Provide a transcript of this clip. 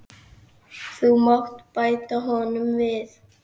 Þú mátt bæta honum við.